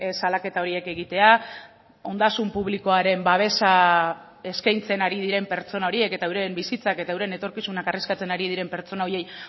salaketa horiek egitea ondasun publikoaren babesa eskaintzen ari diren pertsona horiek eta euren bizitzak eta euren etorkizunak arriskatzen ari diren pertsona horiei